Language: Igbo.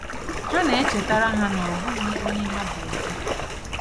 Ha na-echetara ha na ọ bụghị onye ha bụ ọzọ.